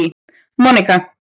Monika